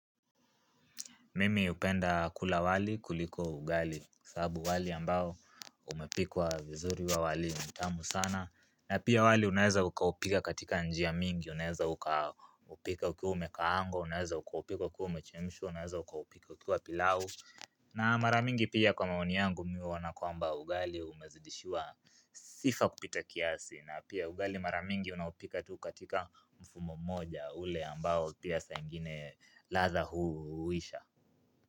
Mimi upenda kula wali kuliko ugali sabu wali ambao umepikuwa vizuri wa wali mtamu sana na pia wali unaeza ukaupika katika njia mingi Unaeza ukaupika ukiu umekaango Unaeza ukaupika ukiu umechemshu Unaeza ukaupika ukiu pilao na maramingi pia kwa maoni yangu miwana kwa ambao ugali umezidishiwa Sifa kupita kiasi na pia ugali maramingi unaupika tu katika mfumo moja ule ambao pia sangine latha huu uisha.